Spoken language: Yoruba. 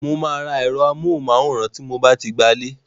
Mo máa ra ẹ̀rọ amóhùnmáwòrán tí mo bá ti gbalé.